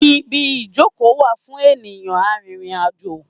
Ibi ìjókòó wà fún ènìyàn arìnrìn-àjò.